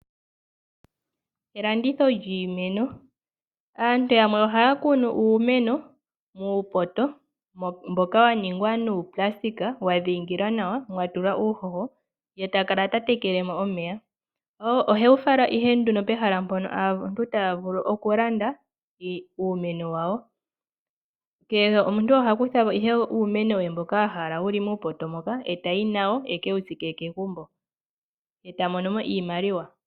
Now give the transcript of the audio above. Elanditho lyiimeno Aantu yamwe ohaya kunu uumeno muupoto mboka wa ningwa nuupulasitika wa dhiingilwa nawa nomwa tulwa uuhoho, ye ta kala ta tekele mo omeya. Ohewu fala ihe pehala mpono aantu taya vulu okulanda uumeno wawo. Kehe omuntu oha kutha po uumeno we mboka a hala e tayi nawo e ke wu tsike kegumbo. Ye ta mono mo iimaliwa.